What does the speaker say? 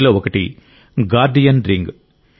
వీటిలో ఒకటి guardian ring